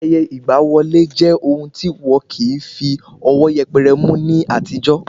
Ayẹyẹ ìgba wọlé jẹ́ ohun tí wọn kìí fí ọwọ́ yẹpẹrẹ mú ní àtijọ́